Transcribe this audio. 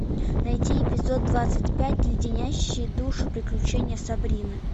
найди эпизод двадцать пять леденящие душу приключения сабрины